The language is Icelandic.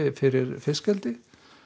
fyrir fiskeldi